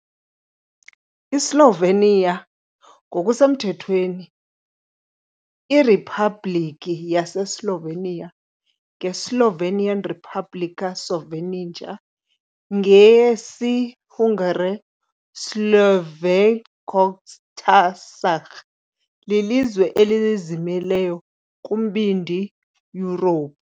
ISlovenia, ngokusemthethweni iRiphabhlikhi yaseSlovenia, ngeSlovenian "Republika Slovenija", ngesiHungary "Szlovén Köztársaság", lilizwe elizimeleyo kuMbindi Yurophu.